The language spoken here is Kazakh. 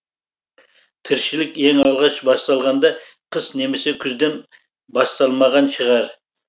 тіршілік ең алғаш басталғанда қыс немесе күзден басталмаған шығар